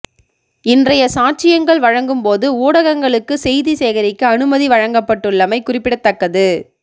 இன்றைய சாட்சியங்கள் வழங்கும் போது ஊடகங்களுக்கு செய்தி சேகரிக்க அனுமதி வழங்கப்பட்டுள்ளமை குறிப்பிடத்தக்கது